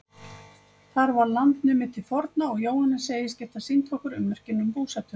Þar var land numið til forna og Jóhannes segist geta sýnt okkur ummerkin um búsetuna.